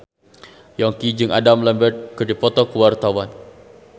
Yongki jeung Adam Lambert keur dipoto ku wartawan